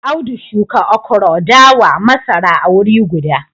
Audu shuka okro, dawa, masara a wuri guda